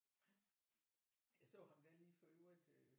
Jeg så ham da lige for øvrigt øh